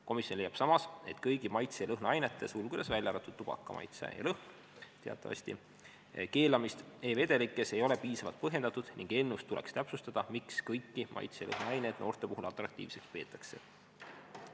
Komisjon leiab samas, et kõigi maitse- ja lõhnaainete keelamist e-vedelikes ei ole piisavalt põhjendatud ning eelnõus tuleks täpsustada, miks kõiki maitse- ja lõhnaaineid noorte puhul atraktiivseks peetakse.